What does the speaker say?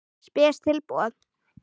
Spes tilboð.